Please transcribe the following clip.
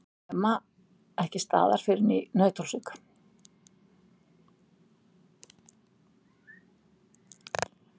Nema ekki staðar fyrr en í Nauthólsvík.